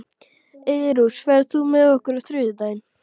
Eyrós, ferð þú með okkur á þriðjudaginn?